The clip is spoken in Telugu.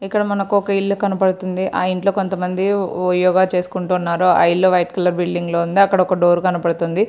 ఇక్కడ మనకు ఒక ఇల్లు కనబడతుంది. ఆ ఇంట్లో కొంత మంది ఓ-యోగా చేసుకుంటున్నారు. ఆ ఇల్లు వైట్ కలర్ బిల్డింగ్ లో ఉంది. అక్కడొక డోర్ కనబడుతుంది.